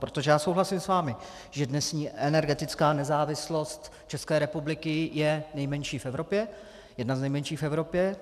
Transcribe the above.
Protože já souhlasím s vámi, že dnešní energetická nezávislost České republiky je nejmenší v Evropě, jedna z nejmenších v Evropě.